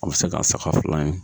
A be se k'a saga fila in